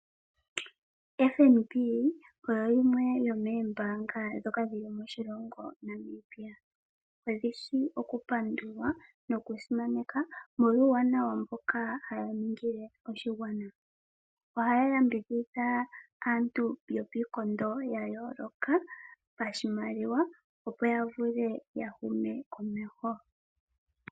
Ombanga yotango yopashigwana oyo yimwe yomoombanga dhoka dhili moshilongo Namibia. Odhishi oku pandulwa noku simaneka molwa uuwanawa mboka haya ningile oshigwana. Ohaya yambidhidha aantu yopiikondo yayooloka pashimaliwa opo ya vule ya hume komeho.